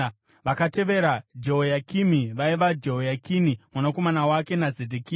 Vakatevera Jehoyakimi vaiva: Jehoyakini mwanakomana wake naZedhekia.